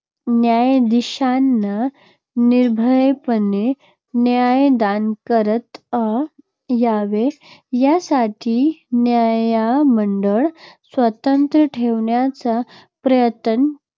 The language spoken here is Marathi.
न्यायाधीशांना निर्भयपणे न्यायदान करत अ यावे, यासाठी न्यायमंडळ स्वतंत्र ठेवण्याचा प्रयत्न